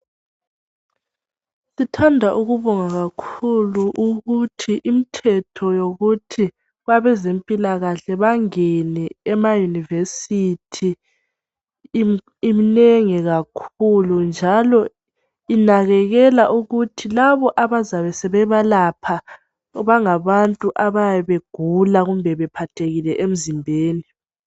Sithanda ukubonga kakhulu ukuthi imithetho yokuthi abazempilakahle bangene emayunivesithi iminengi kakhulu. Njalo inakekekela ukuthi lab abazabe bebelapha bangabantu abayabe begula njalo bephathekile emizimbeni.